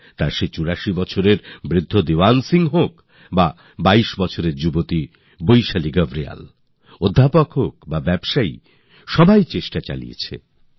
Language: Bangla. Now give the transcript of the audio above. তা সে চুরাশি বছরের প্রবীণ দিওয়ান সিং হোন বা বাইশ বছরের যুবতী বৈশালী গারোয়াল অধ্যাপক বা ব্যাপারী সকলেই যথাসাধ্য চেষ্টা শুরু করলেন